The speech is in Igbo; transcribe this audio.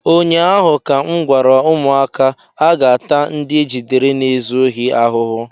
ụnyaahụ ka m gwara ụmụaka, aga-ata ndị ejidere na-ezu ohi ahụhụ!